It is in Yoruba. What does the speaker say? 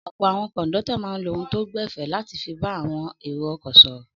Ọ̀pọ̀ àwọn kọ̀ńdọ́tọ̀ máa ń lo ohùn tó gbẹ̀fẹ̀ láti fi bá àwọn èrò-ọkọ̀ sọ̀rọ̀.